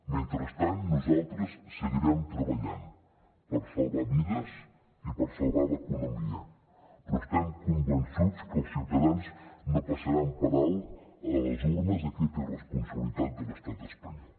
mentrestant nosaltres seguirem treballant per salvar vides i per salvar l’economia però estem convençuts que els ciutadans no passaran per alt a les urnes aquesta irresponsabilitat de l’estat espanyol